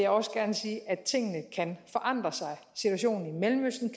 også gerne sige at tingene kan forandre sig situationen i mellemøsten